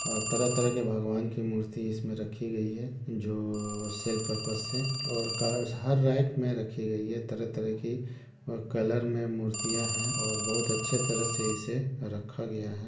और तरह तरह के भगवान की मूर्ति इसमे रखी गई है जो सेल पर्पस से और कार -- हर राइट मे रखी गई है तरह तरह की और कलर मे मूर्तियाँ है और बहुत अच्छे तरह से इसे रखा गया है।